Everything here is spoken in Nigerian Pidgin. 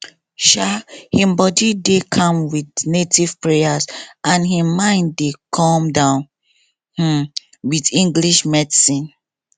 um him body dey calm with native prayers and him mind dey come down um with english medicine